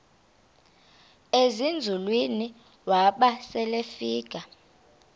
ezinzulwini waba selefika